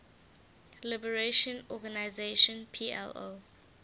liberation organization plo